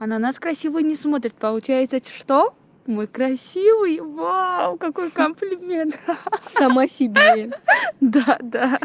ананас красиво не смотрит получается что мой красивый вау какой комплимент сама себе